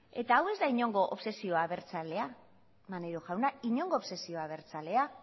eta hau ez da inongo obsesio abertzalea maneiro jauna inongo obsesio abertzalea